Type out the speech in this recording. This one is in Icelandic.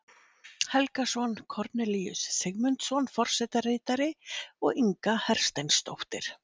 Helgason, Kornelíus Sigmundsson forsetaritari og Inga Hersteinsdóttir